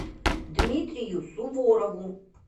дмитрию суворову